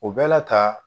O bɛɛ la ka